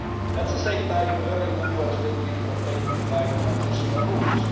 At the same time, early movers will be protected by transitional rules